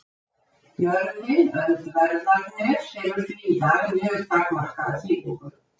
Jörðin Öndverðarnes hefur því í dag mjög takmarkaða þýðingu.